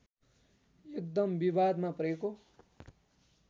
एकदम विवादमा परेको